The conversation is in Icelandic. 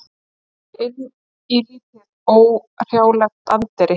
Inn í lítið, óhrjálegt anddyri.